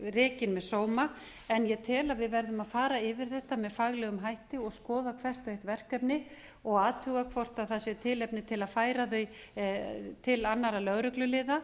rekin með sóma en ég tel að við verðum að fara yfir þetta með faglegum hætti og skoða hvert og eitt verkefni og athuga hvort það sé tilefni til að færa þau til annarra lögregluliða